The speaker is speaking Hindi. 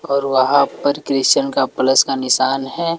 और वहां पर क्रिस्चियन का प्लस का निशान है।